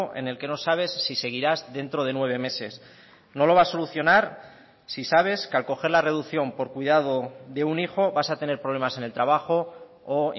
en el que no sabes si seguirás dentro de nueve meses no lo va a solucionar si sabes que al coger la reducción por cuidado de un hijo vas a tener problemas en el trabajo o